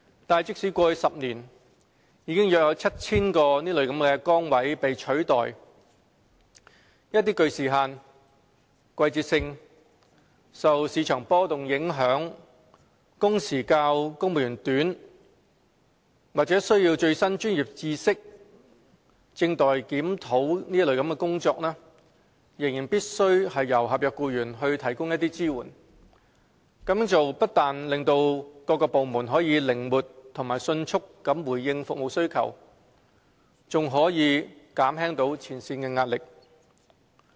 但即使過去10年已有約 7,000 個崗位被取代，一些具時限、季節性、受市場波動影響、工時較公務員短、需要最新專業知識或正待檢討的工作仍然必須由合約僱員提供支援，這樣做不單可使各部門靈活及迅速地回應服務需求，並可減輕前線的壓力。